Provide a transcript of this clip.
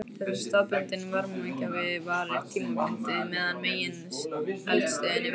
Þessi staðbundni varmagjafi varir tímabundið meðan megineldstöðin er virk.